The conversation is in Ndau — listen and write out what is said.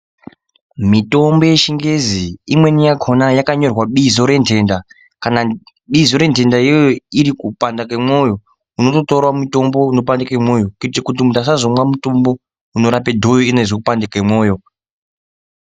Mitombo yechingezi imweni yakhona yakanyorwa bizo rendhenda kana bizo rendhenda iyoyo iri kupanda kemwoyo, unototorawo mutombo unopandike mwoyo kuitira kuti munthu asazomwe mutombo unorape dhoyo iyena eizwe kupanda kemwoyo.